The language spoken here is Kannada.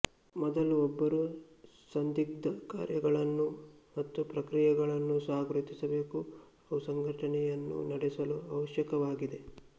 ಮೊದಲು ಒಬ್ಬರು ಸಂದಿಗ್ಧ ಕಾರ್ಯಗಳನ್ನು ಮತ್ತು ಪ್ರಕ್ರಿಯೆಗಳನ್ನುಸ ಗುರುತಿಸಬೇಕು ಅವು ಸಂಘಟನೆಯನ್ನು ನಡೆಸಲು ಅವಶ್ಯಕವಾಗಿದೆ